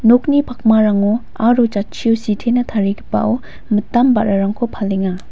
nokni pakmarango aro jatchio sitena tarigipao mitam ba·rarangko palenga.